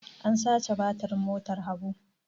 An sace batirin motar Habu.